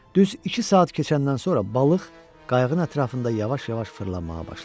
Düz iki saat keçəndən sonra balıq qayığın ətrafında yavaş-yavaş fırlanmağa başladı.